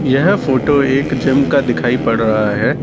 यह फोटो एक जिम का दिखाई पड़ रहा है।